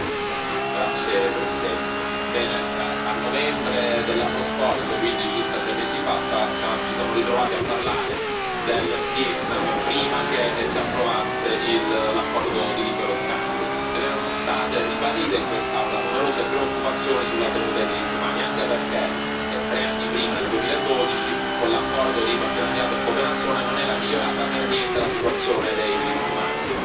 Signor Presidente, onorevoli colleghi, a novembre dell'anno scorso, quindi circa sei mesi fa, ci siamo ritrovati a parlare del Vietnam, prima che si approvasse l'accordo di libero scambio. Erano state ribadite in quest'Aula numerose preoccupazioni sulla tenuta dei diritti umani, anche perché tre anni prima, nel 2012, con l'accordo di partenariato e cooperazione non era migliorata per niente la situazione dei diritti umani.